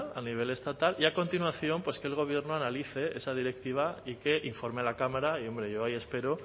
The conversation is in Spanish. a nivel estatal y a continuación que el gobierno analice esa directiva y que informe a la cámara y hombre yo ahí espero